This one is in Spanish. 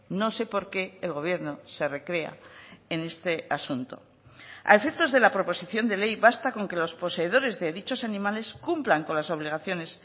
no sé por qué el gobierno se recrea en este asunto a efectos de la proposición de ley basta con que los poseedores de dichos animales cumplan con las obligaciones